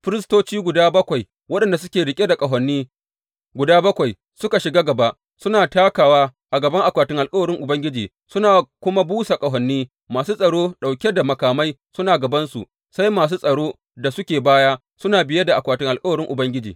Firistoci guda bakwai waɗanda suke riƙe da ƙahoni guda bakwai suka shiga gaba, suna takawa a gaban akwatin alkawarin Ubangiji suna kuma busa ƙahoni, masu tsaro ɗauke da makamai suna gabansu, sai masu tsaro da suke baya suna biye da akwatin alkawarin Ubangiji.